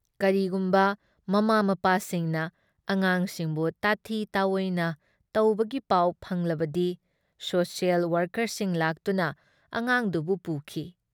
ꯀꯔꯤꯒꯨꯨꯝꯕ ꯃꯃꯥ ꯃꯄꯥꯁꯤꯡꯅ ꯑꯉꯥꯡꯁꯤꯡꯕꯨ ꯇꯥꯊꯤ ꯇꯥꯑꯣꯏꯅ ꯇꯧꯕꯒꯤ ꯄꯥꯎ ꯐꯪꯂꯕꯗꯤ ꯁꯣꯁꯤꯌꯦꯜ ꯋꯥꯔꯀꯔꯁꯤꯡ ꯂꯥꯛꯇꯨꯅ ꯑꯉꯥꯡꯗꯨꯕꯨ ꯄꯨꯈꯤ ꯫